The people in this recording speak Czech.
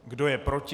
Kdo je proti?